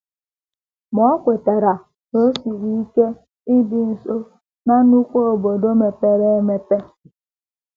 Ma,, o kwetara na o siri ike ibi nso ná nnukwu obodo mepere emepe.